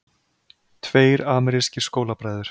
Tveir amerískir skólabræður